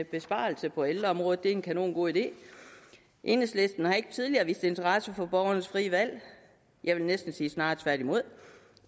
besparelse på ældreområdet er en kanongod idé enhedslisten har ikke tidligere vist interesse for borgernes frie valg jeg vil næsten sige snarere tværtimod